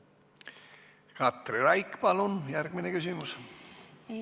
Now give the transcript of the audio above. Katri Raik, palun järgmine küsimus!